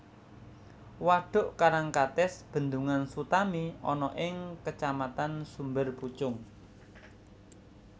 Wadhuk Karangkates Bendungan Sutami ana ing Kacamatan Sumberpucung